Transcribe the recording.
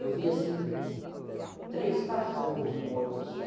Eu vi, assim, três cachorros mortos, assim,